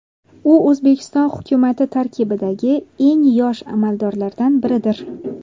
U O‘zbekiston hukumati tarkibidagi eng yosh amaldorlardan biridir.